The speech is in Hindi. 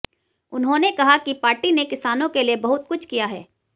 उन्होंने कहा कि पार्टी ने किसानों के लिए बहुत कुछ किया है